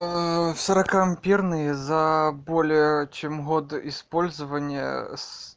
сорока амперные за более чем год использования с